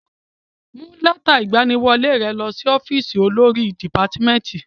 Mú lẹ́tà ìgbaniwọlé ẹ lọ sí ọ́fìsì olórí dìpátmẹ́tì.